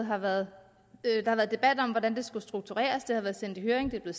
har været debat om hvordan lovforslaget skulle struktureres det har været sendt i høring det er